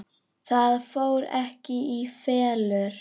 Það fór ekki í felur.